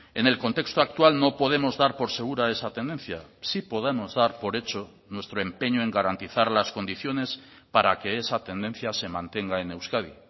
en el contexto actual no podemos dar por segura esa tendencia sí podemos dar por hecho nuestro empeño en garantizar las condiciones para que esa tendencia se mantenga en euskadi